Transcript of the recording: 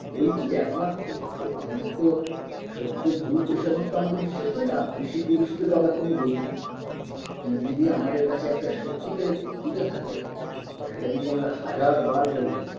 ওইটি একমাত্র আমাদের তো সত্যযুগ এ সমস্ত আমরা বিশ্বাস করিনা ঋষি পুরুষকে আমরা কখনো দেখিনি কিন্তু যদি আমাদের কাছে একটা সত্যিকারের কবিতা থাকে এবং সেটা যদি আমরা হাজার বার বলি